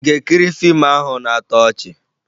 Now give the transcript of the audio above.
Ị ga-ekiri fiimu ahụ na-atọ ọchị?